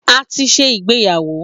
A ti ṣe ìgbéyàwó